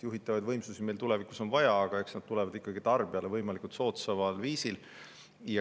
Juhitavaid võimsusi on meil tulevikus vaja, aga eks need tulevad tarbijale võimalikult soodsal viisil.